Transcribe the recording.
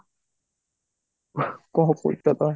କଣ କହୁଛ ତମେ?